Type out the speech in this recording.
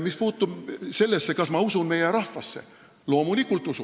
Mis puutub sellesse, kas ma usun meie rahvasse, siis loomulikult usun!